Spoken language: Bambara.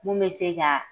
Mun bɛ se ka